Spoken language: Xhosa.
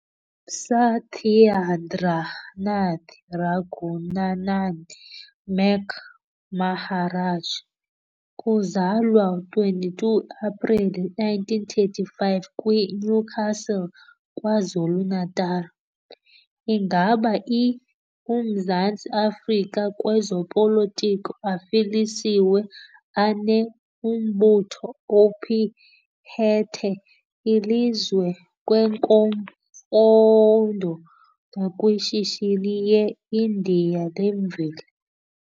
Sathyandranath Ragunanan "Mac" Maharaj, kuzalwa 22 apreli 1935 kwi-Newcastle, KwaZulu-Natal, ingaba i - Umzantsi Afrika kwezopolito afilisiwe ane - umbutho ophethe ilizwe kwezemfundo nakwishishini yeIndia lemveli.